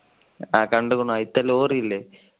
ആ കണ്ടു അതിലെ ലോറി ഇല്ലേ.